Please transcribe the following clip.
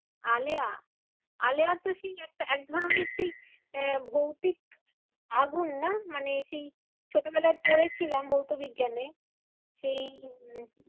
আলেয়া, আলেয়া তো সেই একটা একধরণের সেই আহ ভৌতিক আগুন না? মানে সেই ছোটবেলায় পড়েছিলাম ভৌতবিজ্ঞানে। সেই উম